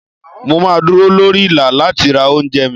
Mo máa dúró lórí Ìlà láti ra oúnjẹ mi.